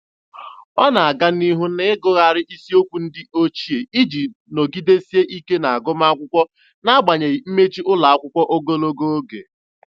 Ọ na-aga n'ihu na-agụgharị isiokwu ndị ochie iji nọgidesie ike n'agụmamwkụkwọ n'agbanyeghị mmechi ụlọakwụkwọ ogologo oge.